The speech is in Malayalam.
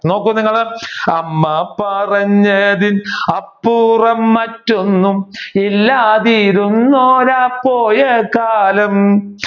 നോക്കൂ നിങ്ങൾ അമ്മ പറഞ്ഞതിൽ അപ്പുറം മറ്റൊന്നും ഇല്ലാതിരുന്നൊരാ പോയകാലം